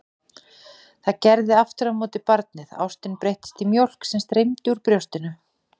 Það gerði aftur á móti barnið, ástin breyttist í mjólk sem streymdi úr brjóstinu.